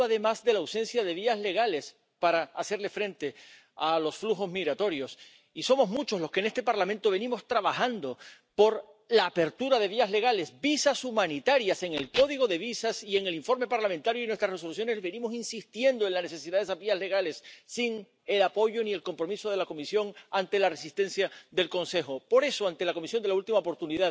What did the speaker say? Sunt de acord că trebuie să apărăm granițele externe ale Europei, dar cum le putem apăra, dacă România, care este la granița externă a Europei, nu este membră Schengen? Dumneavoastră, domnilor europarlamentari și dumneavoastră, domnule președinte, trebuie să ajutați România, pentru că a îndeplinit toate condițiile să devină membru Schengen. Pe de altă parte, România va prelua anul viitor președinția Consiliului Uniunii Europene.